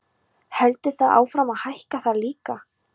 Heldur það áfram að hækka þar líka?